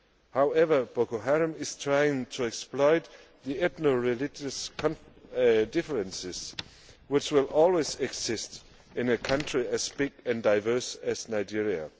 However, Boko Haram is trying to exploit the ethno religious differences, which will always exist in a country as big and diverse as Nigeria.